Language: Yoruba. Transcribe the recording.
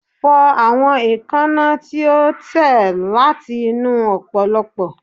Fọ awọn eekanna ti o tẹ lati inu opoplopo